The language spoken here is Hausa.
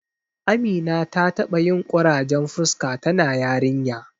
Amina ta taɓa yin ƙurajen fuska tana yarinya.